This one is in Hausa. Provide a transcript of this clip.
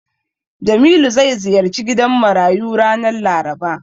Jamilu zai ziyarci gidan marayu ranar Laraba.